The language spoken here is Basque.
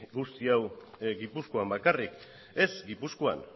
guzti hau gipuzkoan bakarrik ez gipuzkoan